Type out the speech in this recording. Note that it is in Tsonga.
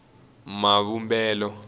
mavumbelo